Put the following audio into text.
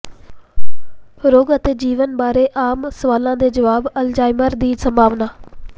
ਰੋਗ ਅਤੇ ਜੀਵਨ ਬਾਰੇ ਆਮ ਸਵਾਲਾਂ ਦੇ ਜਵਾਬ ਅਲਜ਼ਾਈਮਰ ਦੀ ਸੰਭਾਵਨਾ